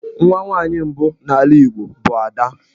Nwa nwaanyị mbụ n'ala Igbo bụ 'Ada'.